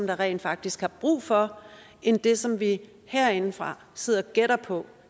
der rent faktisk er brug for end det som vi herindefra sidder og gætter på